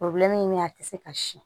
min bɛ a tɛ se ka siyɛn